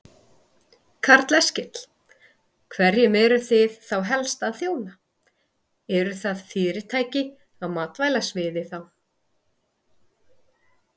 Karl Eskil: Hverjum eruð þið þá helst að þjóna, eru það fyrirtæki á matvælasviði þá?